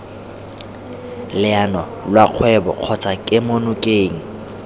leano lwa kgwebo kgotsa kemonokeng